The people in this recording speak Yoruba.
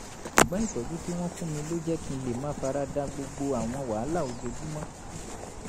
ṣùgbọ́n ìtọ́jú tí wọ́n fún mi ló jẹ́ kí n lè máa fara da gbogbo àwọn wàhálà ojoojúmọ́